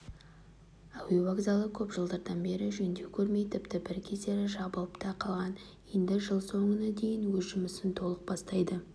әуе вокзалы көп жылдардан бері жөндеу көрмей тіпті бір кездері жабылып та қалған енді жыл соңына дейін өз жұмысын толық бастайды